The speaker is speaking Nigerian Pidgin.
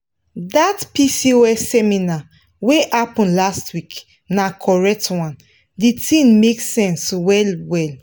dat pcos seminar wey happen last week na correct one di thing make sense well well.